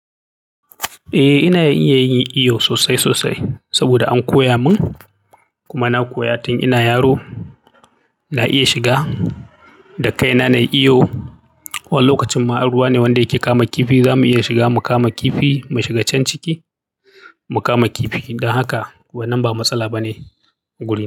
Eh ina iya yin iyo sosai sosai saboda an koya mun, kuma na koya tun ina yaro. Na iya shiga da kaina nayi iyo. Wani lokacin ma in ruwa ne wanda yake kama kifi, zamu iya shiga mu kama kifi, mu shiga can ciki mu kama kifi. Don haka wannan ba matsala ba ne guri na.